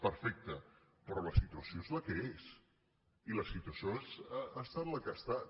perfecte però la situació és la que és i la situació ha estat la que ha estat